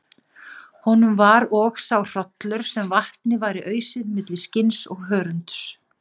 Honum var og sá hrollur sem vatni væri ausið milli skinns og hörunds.